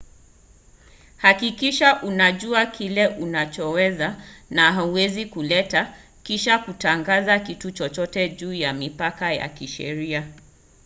hakikisha unajua kile unachoweza na hauwezi kuleta kisha kutangaza kitu chochote juu ya mipaka ya kisheria